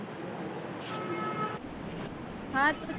હા તો